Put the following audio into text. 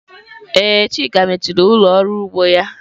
Ee, chika mechiri ụlọ ọrụ ugbo ya.